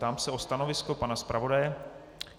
Ptám se na stanovisko pana zpravodaje.